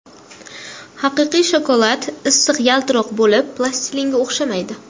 Haqiqiy shokolad silliq yaltiroq bo‘lib, plastilinga o‘xshamaydi.